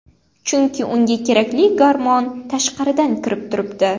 Chunki unga kerakli gormon tashqaridan kirib turibdi.